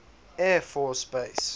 air force base